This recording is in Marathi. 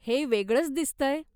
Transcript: हे वेगळंच दिसतंय.